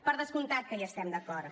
per descomptat que hi estem d’acord